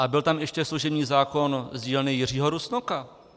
A byl tam ještě služební zákon z dílny Jiřího Rusnoka.